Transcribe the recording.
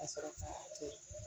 Ka sɔrɔ ka to ten